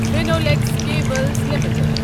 Finolex cables limited